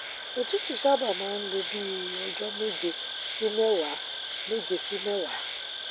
òtútù sábà máa ń lo bí i ọjọ méje sí mẹwàá méje sí mẹwàá